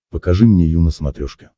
покажи мне ю на смотрешке